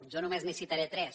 jo només n’hi citaré tres